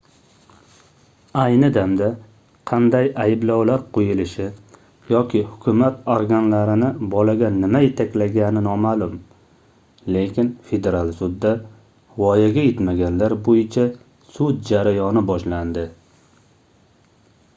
ayni damda qanday ayblovlar qoʻyilishi yoki hukumat organlarini bolaga nima yetaklagani nomaʼlum lekin federal sudda voyaga yetmaganlar boʻyicha sud jarayoni boshlandi